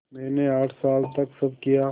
मैंने आठ साल तक सब किया